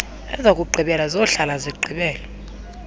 ezokugqibela zohlala zigqibela